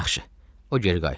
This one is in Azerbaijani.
Yaxşı, o geri qayıtdı.